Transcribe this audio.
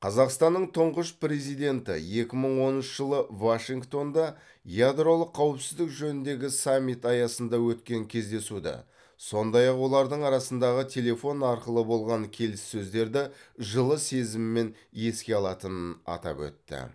қазақстанның тұңғыш президенті екі мың оныншы жылы вашингтонда ядролық қауіпсіздік жөніндегі саммит аясында өткен кездесуді сондай ақ олардың арасындағы телефон арқылы болған келіссөздерді жылы сезіммен еске алатынын атап өтті